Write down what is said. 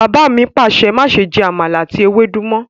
Bàbá mi Pàṣẹ! "máṣe jẹ Àmàlà ati ewédú mọ".